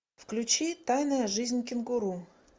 включи тайная жизнь кенгуру